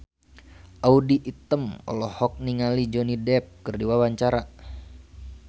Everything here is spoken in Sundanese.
Audy Item olohok ningali Johnny Depp keur diwawancara